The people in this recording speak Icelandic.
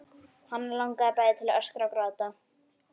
Hana langaði bæði til að öskra og gráta.